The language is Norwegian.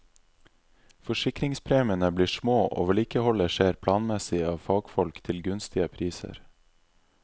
Forsikringspremiene blir små og vedlikeholdet skjer planmessige av fagfolk til gunstige priser.